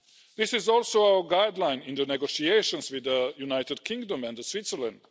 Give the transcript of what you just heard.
This is also our guideline in the negotiations with the United Kingdom and Switzerland.